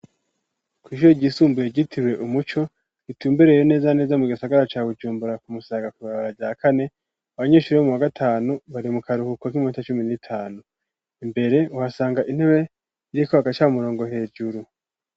Kw'ishure ryisumbuye ryitiriwe umuco, ritumbereye neza na neza mu gisagara ca Bujumbura ku Musaga kw'ibarabara rya kane, abanyeshure bo mu wagatanu bari mu karuhuko k'iminota cumi n'itanu. Imbere uhasanga intebe, iriko agacamurongo hejuru.